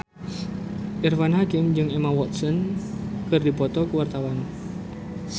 Irfan Hakim jeung Emma Watson keur dipoto ku wartawan